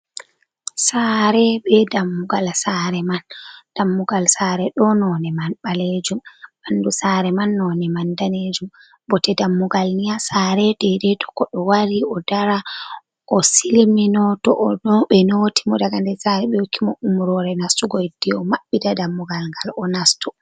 Saare be dammugal saare man, dammugal saare ɗo none man balejum ,ɓandu saare man none man danejum, bote dammugal ni haa saare dedei to koɗo wari o dara o silmino to ɓe noti mo daga nder saare ɓe hokkimo umrore nastugo hidde o maɓɓita dammugal ngal o nasto.